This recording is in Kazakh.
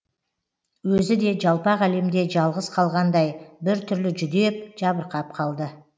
өзі де жалпақ әлемде жалғыз қалғандай бір түрлі жүдеп жабырқап қалды